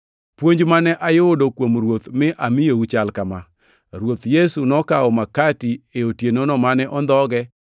Puonj mane ayudo kuom Ruoth mi amiyou chal kama: Ruoth Yesu nokawo makati e otienono mane ondhogee,